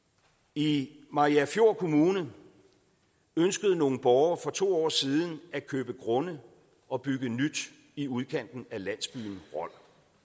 i mariagerfjord kommune ønskede nogle borgere for to år siden at købe grunde og bygge nyt i udkanten af landsbyen rold